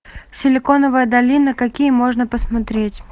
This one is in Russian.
силиконовая долина какие можно посмотреть